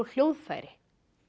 hljóðfæri